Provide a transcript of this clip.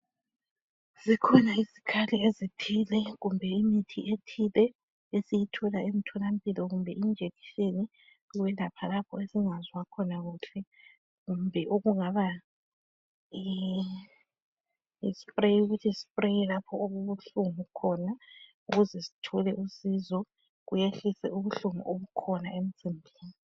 Zikhona izikhali ezithile kumbe imithi ethile esiyithola emtholampilo kumbe amajekiseni okwelapha lapho esingezwa kuhle khona kumbe ispray ukuthi sipraye lapha okubuhlungu khona ukuze sithole usizo kuyehlise ubuhlungu obukhona emzimbeni.